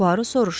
Puaro soruşdu.